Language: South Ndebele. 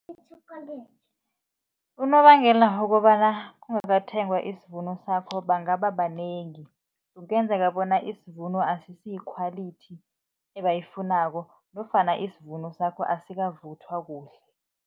Unobangela wokobana kungasathengwa isivuno sakho bangaba banengi, kungenzeka bona isivuno asisi yi-quality ebayifunako nofana isivuno sakho asikavuthwa kuhle.